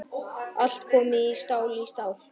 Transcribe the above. Allt komið stál í stál.